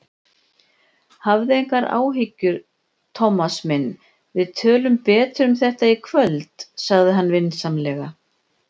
Hafðu engar áhyggjur, Thomas minn, við tölum betur um þetta í kvöld sagði hann vinsamlega.